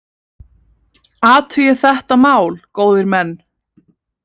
Athugið þetta mál, góðir menn!